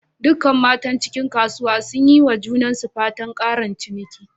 Dukkan matan cikin kasuwan sun yi ma junansu fatan"ƙarin ciniki."